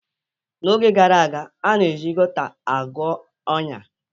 N'oge gara aga, a na-eji Gauta agwọ ọnya.